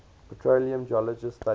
petroleum geologists study